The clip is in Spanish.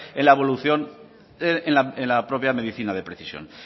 en la evolución en la propia medicina de precisión